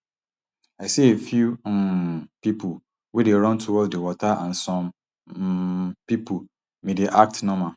i see a few um pipo wey dey run towards di water and some um pipo bin dey act normal